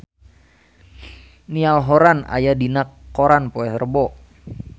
Niall Horran aya dina koran poe Rebo